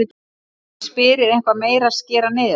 Ég spyr, er eitthvað meira að skera niður?